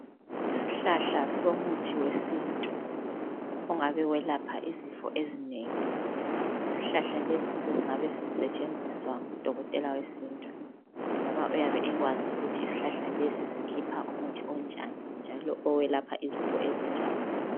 Isihlahla somuthi wesintu ongabe welapha izifo ezinengi. Isihlahla lesi singabe sisetshenziswa ngudokotela wesintu ngoba uyabe ekwazi ukuthi isihlahla lesi sikhipha umuthi onjani njalo owelapha izifo ezinjani.